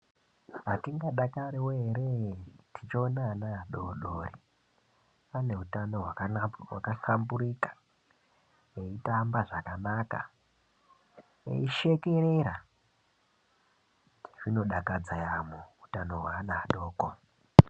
Hatingadakariwo here tichiona vana vadoredore vane hutano hwakanaka hwakahlamburika, veitamba zvakanaka veishekerera. Zvinodakadza yaamho hutano hweana adoko.